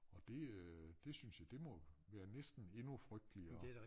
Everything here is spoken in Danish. Og det øh det synes jeg det må være næsten endnu frygteligere